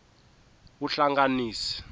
vuhlanganisi